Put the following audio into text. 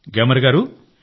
గ్యామర్ గారూ